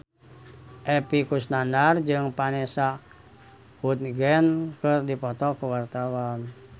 Epy Kusnandar jeung Vanessa Hudgens keur dipoto ku wartawan